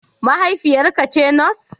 Mahaifiyarka ce Nurse?